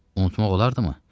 Unutmaq olardımı?